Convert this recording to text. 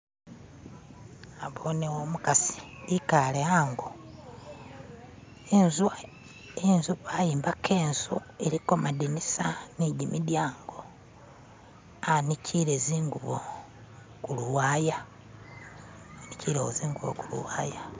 nabonewo umukasi ikale hango wayombaka inzu iliko madinisa nijimidyango anikile zingubo kuluwaya